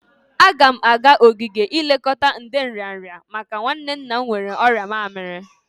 Agam aga ogige ilekọta ndi nrịanrị maka nwanne nna m nwere ọrịa mamiri.